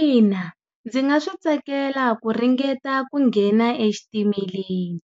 Ina ndzi nga swi tsakela ku ringeta ku nghena exitimeleni.